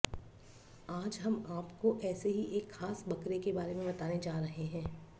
आज हम आपको ऐसे ही एक खास बकरे के बारे में बताने जा रहे हैं